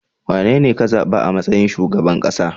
Wanene ka zaba a matsayin shugaban kasa?